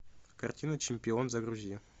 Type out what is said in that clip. картина чемпион загрузи